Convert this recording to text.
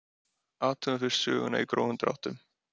Athugum fyrst söguna í grófum dráttum.